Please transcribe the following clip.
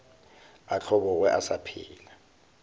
a hlobogwe a sa phela